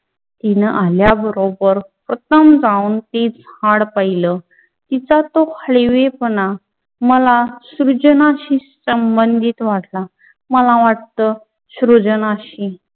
तीना आल्या बरोबर प्रथम जाऊन ती झाड पहिल. तिच्या त्यो हळवीपना मला सृजनाशील सम्भंधित वाटला. मला वाटतं सृजनाशील